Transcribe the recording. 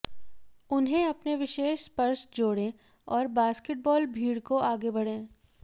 उन्हें अपने विशेष स्पर्श जोड़ें और बास्केटबॉल भीड़ को आगे बढ़ें